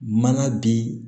Mana bin